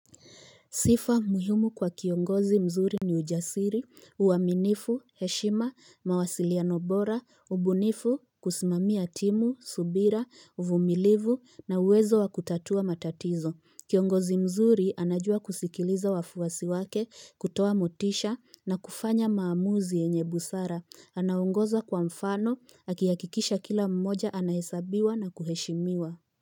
Sifa muhimu kwa kiongozi mzuri ni ujasiri, uaminifu, heshima, mawasiliano bora, ubunifu, kusimamia timu, subira, uvumilivu na uwezo wa kutatua matatizo. Kiongozi mzuri anajua kusikiliza wafuasi wake, kutoa motisha na kufanya maamuzi yenye busara. Anaongoza kwa mfano, akihakikisha kila mmoja anahesabiwa na kuheshimiwa.